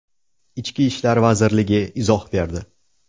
Ichki ishlar vazirligi izoh berdi.